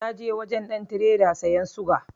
Na je wajen ɗan tireda siyan suga